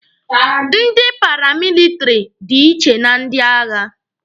Ndị paramilitiri dị iche na ndị agha.